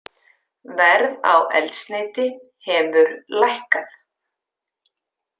Verð á eldsneyti hefur lækkað